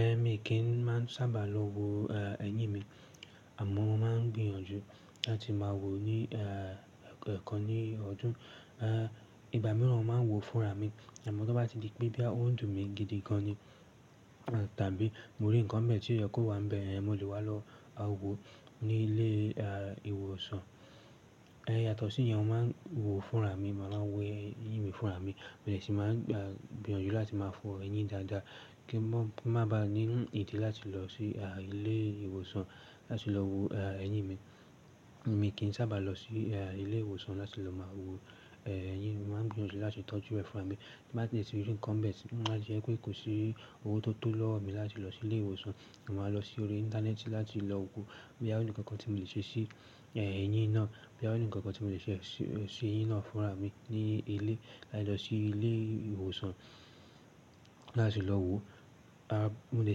Ehn mi kì í maa n sábà ba lọ wo ehn ẹyín mi àmọ́ mo máa ń gbìyànjú láti máa wò ní eh kan ní ọdún. Ìgbà mìíràn mo máa ń wo fúnra mi àmọ́ tó bá ti di pé boya o n dùn mi gidi gan ni tàbí mo rí nǹkan n be tí o yẹ kó wá n bẹ̀, mo lè wá lọ wo ní ilé eh ìwòsàn. Eh yatọ̀sí yẹn mo máa ń wo fúnra mi, mo màá n wò ẹyín mi fúnra mi mo de ṣì máa n gbìyànjú láti máa fọ ẹyín dáadáa kí ń má ba ní ìdí láti lọ sí ilé ìwòsàn láti lọ wo eh ẹyín mi. Mi kì n sábà lọ sí eh ilé ìwòsàn láti lọ máa wo eh ẹyín mi, màá ń gbìyànjú láti tọ́jú ẹ fúnra mi. Bí mo bá de ti rí nǹkan be ti, má jẹ́ pé kò sí owó tó tó lọ́ mi láti lọ sí ilé ìwòsàn, màá lọ sí orí íńtánẹ́ẹ̀tì láti lọ wo boya o ní ǹkan kan tí mo lè ṣe sí eh ẹyín náà, boya o ní ǹkan kan tí mo lè ṣe sí ẹyín náà fúnra mi ní ilé láì lọ sí ilé ìwòsàn láti lọ wo. A mo le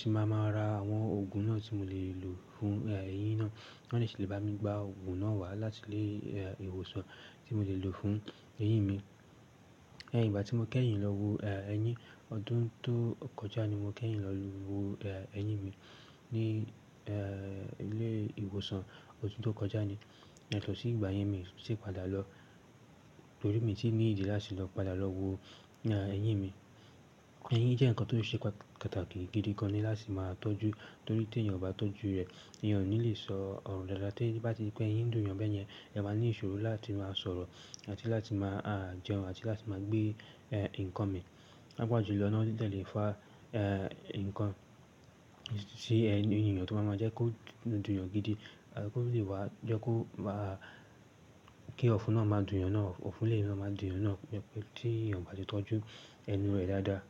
ṣì máa máa ra àwọn òògùn náà tí mo lè lò fún ẹyín náà, wọ́n le ṣì lè bá mi gba òògùn náà wá láti ilé eh ìwòsàn tí mo lè lò fún ẹyín mi. Eh ìgbà tí mo kẹ́yìn lọ wo eh ẹyín ọdún tó kọjá ni mo kẹ́yìn lọ wo eh ẹyín mi ní eh ilé ìwòsàn ọdún tó kọjá ni. Yato sí ìgbà yẹn mi o tun ti padà lọ torí mi n ti ní ìdí láti lọ padà lọ wo eh ẹyín mi. Ẹyín jẹ́ ǹkan tó ṣe pàtàkì gidi gan ni láti máa tọ́jú torí tí èèyàn ò bá tọ́jú rẹ̀ èèyàn ò ní le sọ ọ̀rọ̀ dáadáa teyin bá ti pé eyín dùn ọ̀yọ́n bẹ́ẹ̀ yẹn, ẹeyan máa ní ìṣòro láti máa sọ̀rọ̀ àti láti máa a jẹun àti láti máa gbé eh nǹkan mi. Pàápàá julọ náà o dẹ le fa nǹkan sí ẹnu èèyàn tó máa ma jẹ́ kó dùn èèyàn n gidi àbí kó lè wá jẹ́ kó má kí ọ̀fún náà má dùn èèyàn náà, ọ̀fún lé máa dùn eeyan náà bí i pé tí èèyàn kò bá ti tọ́jú ẹnu rẹ̀ dáadáa.